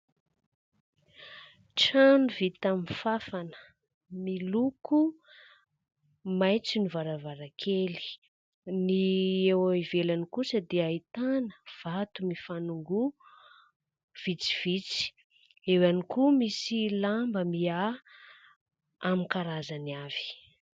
Trano vita amin'ny fanfana, miloko maitso ny varavarankely. Ny eo ivelany kosa dia ahitana vato mifanongoa vitsivitsy. Eo ihany koa misy lamba miahy amin'ny karazany avy.